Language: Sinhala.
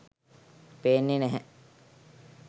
පේන්නෙ නැහැ.